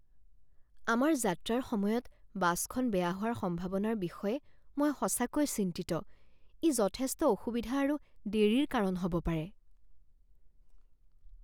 আমাৰ যাত্ৰাৰ সময়ত বাছখন বেয়া হোৱাৰ সম্ভাৱনাৰ বিষয়ে মই সঁচাকৈয়ে চিন্তিত, ই যথেষ্ট অসুবিধা আৰু দেৰিৰ কাৰণ হ'ব পাৰে।